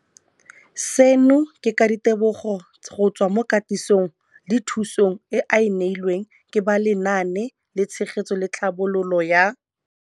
Seno ke ka ditebogo go tswa mo katisong le thu song eo a e neilweng ke ba Lenaane la Tshegetso le Tlhabololo ya